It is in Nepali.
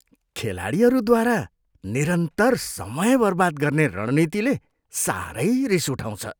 खेलाडीहरूद्वारा निरन्तर समय बर्बाद गर्ने रणनीतिले साह्रै रिस उठाउँछ।